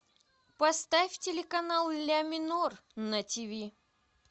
поставь телеканал ля минор на тв